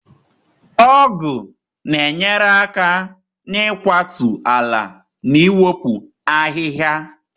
Ogu na-enyere aka n'ịkwatu ala na iwepụ ahịhịa.